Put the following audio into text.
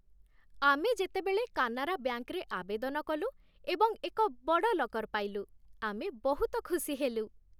ଆମେ ଯେତେବେଳେ କାନାରା ବ୍ୟାଙ୍କ୍‌ରେ ଆବେଦନ କଲୁ ଏବଂ ଏକ ବଡ଼ ଲକର୍ ପାଇଲୁ, ଆମେ ବହୁତ ଖୁସି ହେଲୁ।